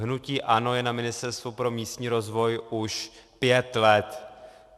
Hnutí ANO je na Ministerstvu pro místní rozvoj už pět let.